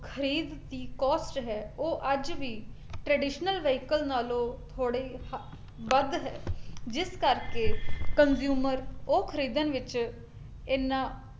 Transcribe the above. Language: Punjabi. ਖਰੀਦ ਦੀ cost ਹੈ ਉਹ ਅੱਜ ਵੀ traditional vehicle ਨਾਲੋਂ ਥੋੜੇ ਹ ਵੱਧ ਹੈ, ਜਿਸ ਕਰਕੇ consumer ਉਹ ਖਰੀਦਣ ਵਿੱਚ ਇਹਨਾਂ